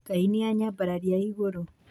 Ngai nĩ anyambarairie igũrũ.